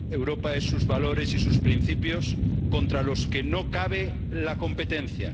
Europa es sus valores y sus principios, contra los que no cabe la competencia.